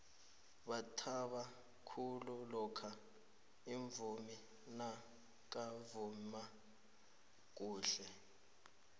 bathaba khulu lokha umvumi nakavuma khuhle